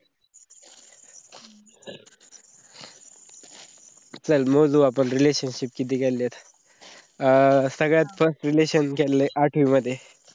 चल मोजू आपण relationship किती केलेलेत. आह सगळ्यात first relation केलली आटवी माध्ये.